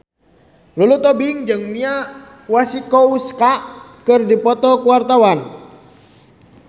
Lulu Tobing jeung Mia Masikowska keur dipoto ku wartawan